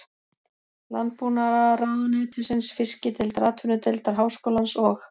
Landbúnaðarráðuneytisins, Fiskideildar Atvinnudeildar Háskólans og